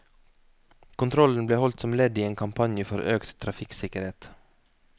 Kontrollen ble holdt som ledd i en kampanje for økt trafikksikkerhet.